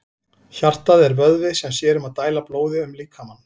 Hjartað er vöðvi sem sér um að dæla blóði um líkamann.